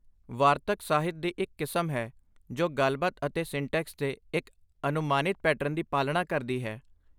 ਵਾਰਤਕ ਸਾਹਿਤ ਦੀ ਇੱਕ ਕਿਸਮ ਹੈ ਜੋ ਗੱਲਬਾਤ ਅਤੇ ਸੰਟੈਕਸ ਦੇ ਇੱਕ ਅਨੁਮਾਨਿਤ ਪੈਟਰਨ ਦੀ ਪਾਲਣਾ ਕਰਦੀ ਹੈ।